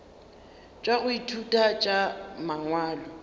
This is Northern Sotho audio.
tša go ithuta tša mangwalo